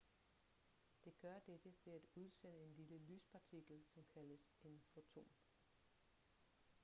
det gør dette ved at udsende en lille lyspartikel som kaldes en foton